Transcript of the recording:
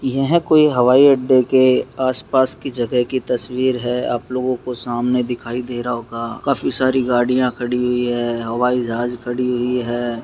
यह कोई हवाई अड्डे के आस-पास के जगह की तस्वीर है आप लोगों को सामने दिखाई दे रहा होगा काफी सारी गाड़ियां खड़ी हुई है हवाई जहाज खड़ी हुई है।